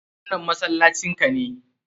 Wannan masallacin ka ne?